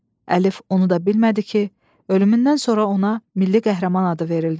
Əlif onu da bilmədi ki, ölümündən sonra ona milli qəhrəman adı verildi.